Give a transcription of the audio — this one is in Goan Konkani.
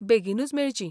बेगीनूच मेळचीं.